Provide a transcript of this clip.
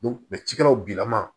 cikɛlaw bilama